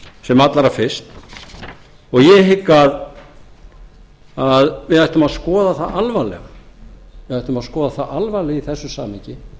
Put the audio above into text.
sem allra fyrst og ég hygg að við ættum að skoða það alvarlega í þessu samhengi